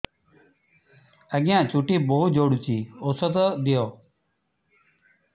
ଆଜ୍ଞା ଚୁଟି ବହୁତ୍ ଝଡୁଚି ଔଷଧ ଦିଅ